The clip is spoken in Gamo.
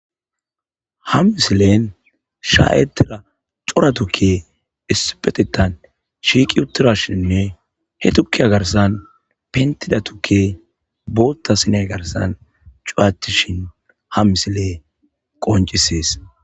Ha misileni shahetida coora tuukey issipetethan shiqi utidashin hetuky garisan fenitida tukeh bota s7inya garisan cuyatish ha misiley qonicises